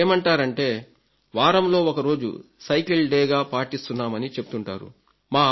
కొందరేమంటారంటే వారంలో ఒకరోజు సైకిల్ డేగా పాటిస్తున్నామని చెప్తుంటారు